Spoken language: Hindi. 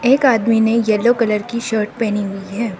एक आदमी ने येलो कलर की शर्ट पहनी हुई है।